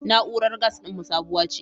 Na'urar gas ɗinmu sabuwa ce.